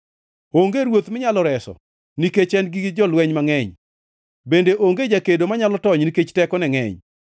Onge ruoth minyalo reso nikech en gi jolweny mangʼeny; bende onge jakedo manyalo tony nikech tekone ngʼeny.